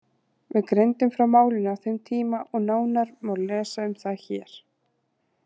Við greindum frá málinu á þeim tíma og nánar má lesa um það hér.